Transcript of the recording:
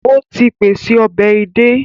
Ó ti pèse ọbẹ̀ edé